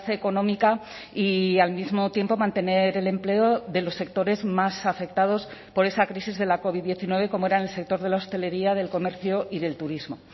económica y al mismo tiempo mantener el empleo de los sectores más afectados por esa crisis de la covid diecinueve como eran el sector de la hostelería del comercio y del turismo